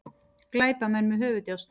Glæpamenn með höfuðdjásn